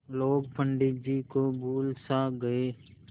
लोग पंडित जी को भूल सा गये